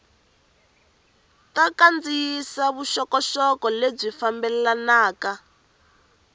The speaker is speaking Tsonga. ta kandziyisa vuxokoxoko lebyi fambelanaka